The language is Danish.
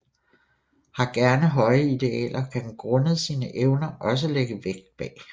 Har gerne høje idealer og kan grundet sine evner også lægge vægt bag